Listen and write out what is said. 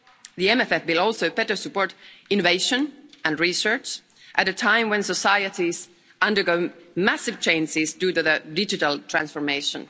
The MFF will also better support innovation and research, at a time when society is undergoing massive changes due to the digital transformation.